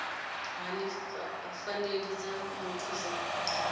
hani pfanelo dza muthu dza